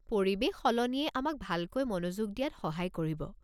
পৰিৱেশ সলনিয়ে আমাক ভালকৈ মনোযোগ দিয়াত সহায় কৰিব।